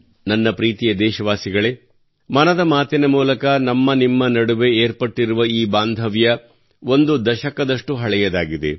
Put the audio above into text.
ನನ್ನ ಪ್ರೀತಿಯ ದೇಶವಾಸಿಗಳೇ ಮನದ ಮಾತಿನ ಮೂಲಕ ನಮ್ಮ ನಿಮ್ಮ ನಡುವೆ ಏರ್ಪಟ್ಟಿರುವ ಈ ಬಾಂಧವ್ಯ ಒಂದು ದಶಕದಷ್ಟು ಹಳೆಯದಾಗಿದೆ